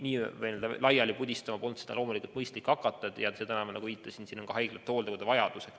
Niimoodi vaktsiini laiali pudistama hakata polnud loomulikult mõistlik ja nagu ma viitasin, on vaktsiini vaja ka haiglatel ja hooldekodudel.